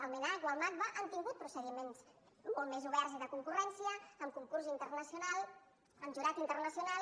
el mnac o el macba han tingut procediments molt més oberts i de concurrència amb concurs internacional amb jurat internacional